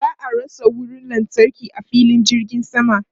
Ba a rasa wutan lantarki a filin jirgin sama.